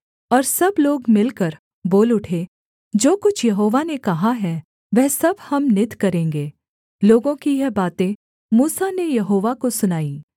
और सब लोग मिलकर बोल उठे जो कुछ यहोवा ने कहा है वह सब हम नित करेंगे लोगों की यह बातें मूसा ने यहोवा को सुनाईं